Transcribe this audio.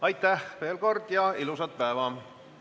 Aitäh veel kord ja ilusat päeva!